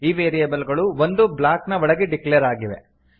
ಈ ವೇರಿಯೇಬಲ್ ಗಳು ಒಂದು ಬ್ಲಾಕ್ ನ ಒಳಗೆ ಡಿಕ್ಲೇರ್ ಆಗಿವೆ